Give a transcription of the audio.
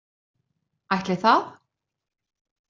Ætli það.